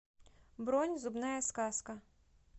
бронь зубная сказка